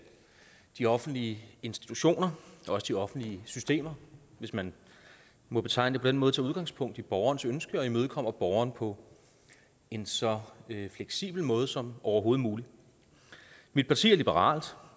de offentlige institutioner også de offentlige systemer hvis man må betegne den måde tager udgangspunkt i borgerens ønske og imødekommer borgeren på en så fleksibel måde som overhovedet muligt mit parti er liberalt